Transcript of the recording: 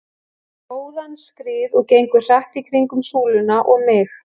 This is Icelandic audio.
inn á góðan skrið og gengur hratt í kringum súluna og mig.